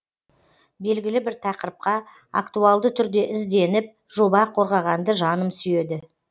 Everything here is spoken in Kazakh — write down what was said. белгілі бір тақырыпқа актуалды түрде ізденіп жоба қорғағанды жаным сүйеді